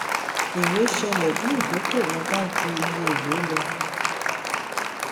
èrè ṣẹlẹ̀ bí ìdókòwò bá ju iye ìwé lọ.